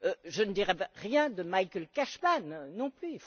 Je ne dirai rien de Michael Cashman, non plus.